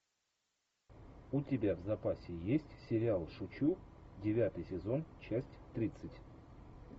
у тебя в запасе есть сериал шучу девятый сезон часть тридцать